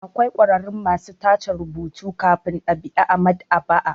Akwai ƙwararru masu tace rubutu kafin ɗab'i a maɗ'aba'a.